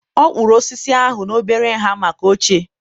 ọ kpụrụ osisi ahụ n'obere nha maka oche.